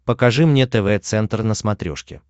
покажи мне тв центр на смотрешке